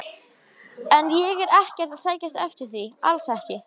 En ég er ekkert að sækjast eftir því, alls ekki.